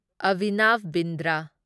Abhinav Bindra